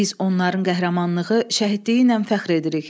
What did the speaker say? Biz onların qəhrəmanlığı, şəhidliyi ilə fəxr edirik.